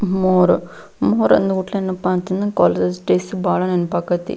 More ಮೊರೆ ಅಂದ್ರೆ ಏನಪ್ಪಾ ಅಂತಂದ್ರೆ ಕಾಲೇಜು ಡೇಸ್ ಬಹಳ ನೆನಪ್ ಆಗತೈತಿ.